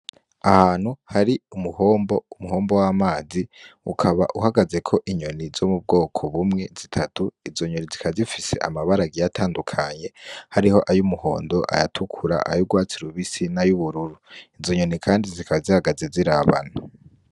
Ahantu hari umuhombo, umuhombo w'amazi ukaba uhagazeko inyoni zo mu bwoko bumwe zitatu. Izo nyoni zikaba zifise amabara agiye atandukanye, hariho ay'umuhondo, ayatukura, ay'urwatsi rubisi n'ay'ubururu. Izo nyoni kandi zikaba zihagaze zirabana.